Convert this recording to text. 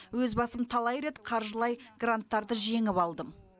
өз басым талай рет қаржылай гранттарды жеңіп алдым